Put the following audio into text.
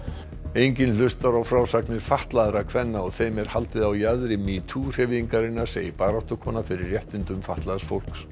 enginn hlustar á frásagnir fatlaðra kvenna og þeim er haldið á jaðri metoo hreyfingarinnar segir baráttukona fyrir réttindum fatlaðs fólks